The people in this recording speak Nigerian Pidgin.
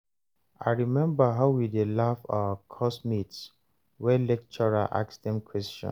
I rememba how we dey laugh our course mates wen lecturer ask dem question